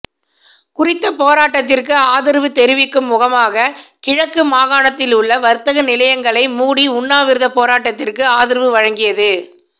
குறித்த போராட்டத்திற்கு ஆதரவு தெரிவிக்கும் முகமாக கிழக்கு மாகாணத்திலுள்ள வர்த்தக நிலையங்களை மூடி உண்ணாவிரத போராட்டத்திற்கு ஆதரவு வழங்கியது